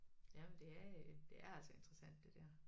Jamen det er øh det er altså interessant det der